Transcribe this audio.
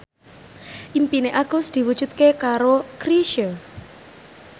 impine Agus diwujudke karo Chrisye